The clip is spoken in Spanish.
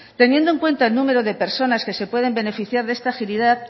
teniendo en cuenta el número de personas que se pueden beneficiar de esta agilidad